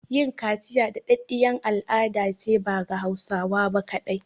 Yin kaciya da ɗaɗɗiyar al'adace ba ga Hausawa ba kaɗai